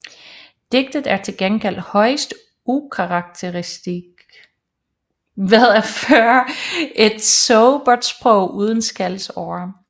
Digtet er til gengæld højst ukarakteristisk ved at føre et sobert sprog uden skældsord